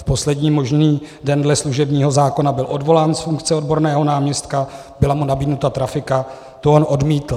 V poslední možný den dle služebního zákona byl odvolán z funkce odborného náměstka, byla mu nabídnuta trafika, to on odmítl.